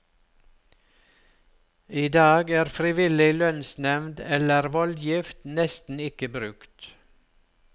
I dag er frivillig lønnsnevnd eller voldgift nesten ikke brukt.